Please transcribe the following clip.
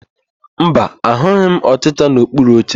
Mba, ahụghị m ọchịcha n'okpuru oche.